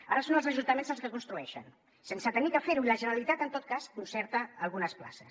ara són els ajuntaments els que construeixen sense haver de fer ho i la generalitat en tot cas concerta algunes places